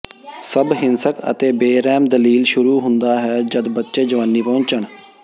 ਸਭ ਹਿੰਸਕ ਅਤੇ ਬੇਰਹਿਮ ਦਲੀਲ ਸ਼ੁਰੂ ਹੁੰਦਾ ਹੈ ਜਦ ਬੱਚੇ ਜਵਾਨੀ ਪਹੁੰਚਣ